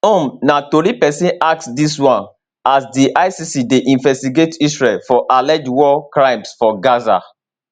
um na tori pesin ask dis one as di icc dey investigate israel for alleged war crimes for gaza